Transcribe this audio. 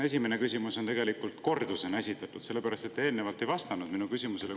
Esimese küsimuse tegelikult esitan kordusena, sellepärast et te eelnevalt ei vastanud mu küsimusele.